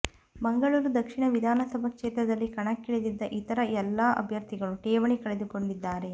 ಮಂಗಳೂರು ದಕ್ಷಿಣ ವಿಧಾನಸಭಾ ಕ್ಷೇತ್ರದಲ್ಲಿ ಕಣಕ್ಕಿಳಿದಿದ್ದ ಇತರ ಎಲ್ಲಾ ಅಭ್ಯರ್ಥಿಗಳು ಠೇವಣಿ ಕಳೆದುಕೊಂಡಿದ್ದಾರೆ